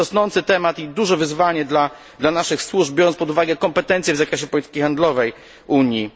To jest rosnący temat i duże wyzwanie dla naszych służb, biorąc pod uwagę kompetencje w zakresie polityki handlowej Unii.